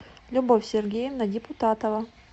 любовь сергеевна депутатова